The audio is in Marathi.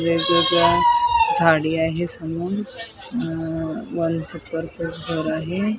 वेगवेगळया झाडी आहे समून अ वॉलच घर आहे.